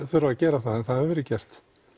þurfa að gera það en það hefur verið gert